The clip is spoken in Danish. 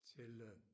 Til øh